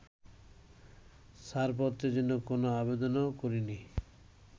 ছাড়পত্রের জন্য কোন আবেদনও করেনি।